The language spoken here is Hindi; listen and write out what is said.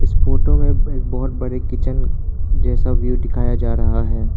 फोटो में एक बहुत बड़े किचन जैसा व्यू दिखाया जा रहा है।